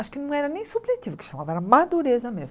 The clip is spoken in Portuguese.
acho que não era nem subjetivo que chamava, era a madureza mesmo.